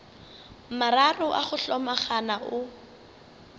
mararo a go hlomagana o